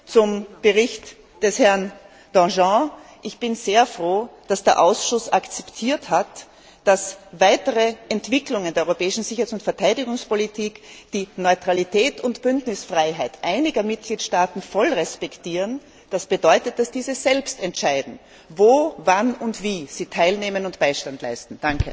Zum Bericht von Herrn Danjean Ich bin sehr froh, dass der Ausschuss akzeptiert hat, dass weitere Entwicklungen der Europäischen Sicherheits und Verteidigungspolitik die Neutralität und Bündnisfreiheit einiger Mitgliedstaaten voll respektieren. Das bedeutet, dass diese selbst entscheiden, wo, wann und wie sie teilnehmen und Beistand leisten.